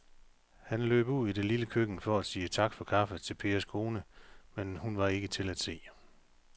Han løb ud i det lille køkken for at sige tak for kaffe til Pers kone, men hun var ikke til at se.